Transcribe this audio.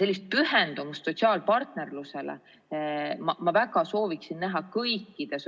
Sellist pühendumust sotsiaalpartnerlusele ma väga sooviksin näha kõikide